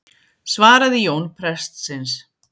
svaraði Jón prestsins.